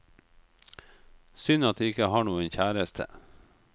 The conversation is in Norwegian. Synd at jeg ikke har noen kjæreste.